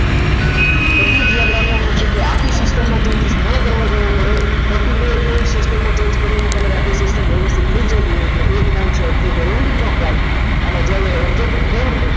એટલું જ યાદ રાખવાનું છે કે આખી system માં changes ન કરવા જવું પડે વ્યક્તિને system માં કોઈ changes કરીને તમે આખી system વ્યવસ્થિત થઈ જતી હોય તો એક ખ્યાલ છે તે service જરૂર ન થાય અને જ્યારે object without